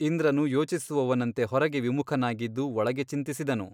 ಇಂದ್ರನು ಯೋಚಿಸುವವನಂತೆ ಹೊರಗೆ ವಿಮುಖನಾಗಿದ್ದು ಒಳಗೆ ಚಿಂತಿಸಿದನು.